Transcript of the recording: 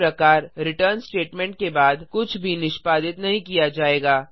इस प्रकार return statement के बाद कुछ भी निष्पादित नहीं किया जाएगा